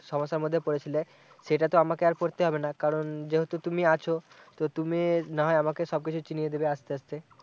সমস্যার মধ্যে পড়েছিলে সেটা তো আমাকে আর পড়তে হবেনা কারণ যিহেতু তুমি আছো তো তুমি না হয় আমাকে সব কিছু চিনিয়ে দিবে আস্তে আস্তে